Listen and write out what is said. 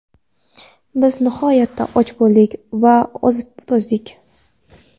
Biz nihoyatda och bo‘ldik va ozib-to‘zdik.